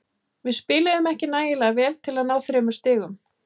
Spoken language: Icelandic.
Við spiluðum ekki nægilega vel til að ná þremur stigum.